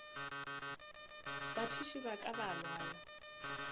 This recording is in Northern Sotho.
bathuši ba ka ba balwa